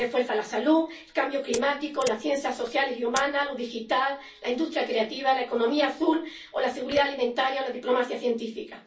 refuerza la salud, la lucha contra el cambio climático, las ciencias sociales y humanas, lo digital, la industria creativa, la economía azul, la seguridad alimentaria o la diplomacia científica.